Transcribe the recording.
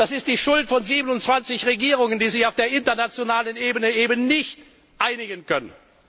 Das ist die Schuld von 27 Regierungen, die sich auf der internationalen Ebene eben nicht einigen können.